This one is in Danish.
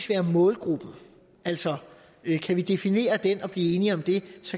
være målgruppen altså kan vi definere den og blive enige om det